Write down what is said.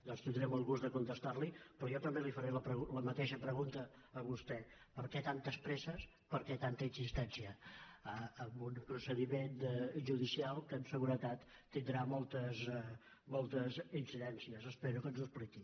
doncs tindré molt de gust de contestar·li però jo també li faré la mateixa pregunta a vostè per què tan·tes presses per què tanta insistència en un procedi·ment judicial que amb seguretat tindrà moltes inci·dències espero que ens ho expliqui